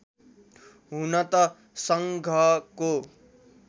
हुन त सङ्घको